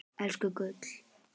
Elsku gull.